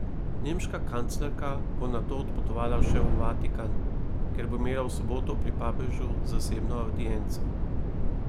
Nemška kanclerka bo nato odpotovala še v Vatikan, kjer bo imela v soboto pri papežu zasebno avdienco.